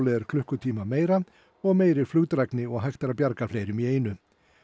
er klukkutíma meira og meiri flugdrægni og hægt er að bjarga fleirum í einu